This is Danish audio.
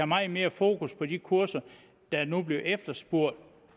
meget mere fokus på de kurser der nu bliver efterspurgt